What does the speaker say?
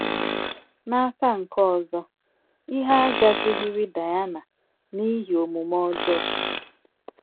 N’aka nke ọzọ, ihe agazighiri Daịna n’ihi omume ọjọọ